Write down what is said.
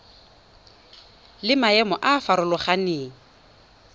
le maemo a a farologaneng